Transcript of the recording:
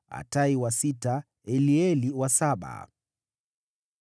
Atai wa sita, Elieli wa saba,